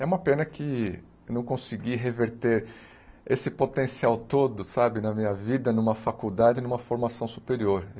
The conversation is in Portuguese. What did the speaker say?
É uma pena que eu não consegui reverter esse potencial todo, sabe, na minha vida, numa faculdade, numa formação superior.